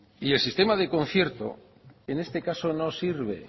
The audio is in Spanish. y el sistema de concierto en este caso no sirve